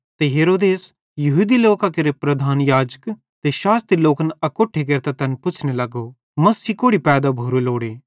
ते हेरोदेसे यहूदी लोकां केरे प्रधान याजक ते शास्त्री लोक अकोट्ठे केरतां तैन पुच्छ़ने लगो मसीह कोड़ि पैदा भोरो लोड़े